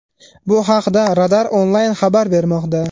Bu haqda Radar Online xabar bermoqda .